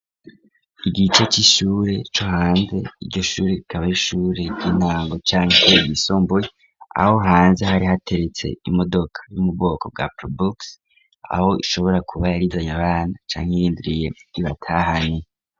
Igice c'ishure co hanze, iryo shure rikaba ari ishure ry'intango canke ryisumbuye, aho hanze hari hateretse imodoka yo mu bwoko bwa probox aho ishobora kuba yari izanye abana, canke irindiriye ibatahane.